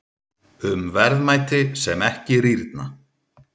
Um verðmæti sem ekki rýrna.